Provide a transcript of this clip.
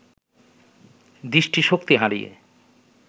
দৃষ্টিশক্তি হারিয়ে